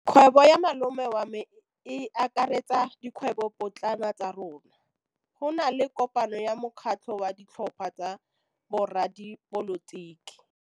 Kgwêbô ya malome wa me e akaretsa dikgwêbôpotlana tsa rona. Go na le kopanô ya mokgatlhô wa ditlhopha tsa boradipolotiki.